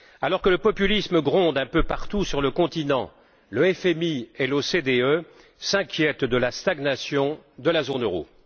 Alors que le populisme gronde un peu partout sur le continent, le FMI et l'OCDE s'inquiètent de la stagnation de la zone euro.